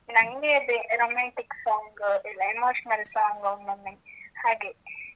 ನಂಗೆ ಅದೇ romantic song, emotional song ಒಮ್ಮೊಮ್ಮೆ ಹಾಗೆ.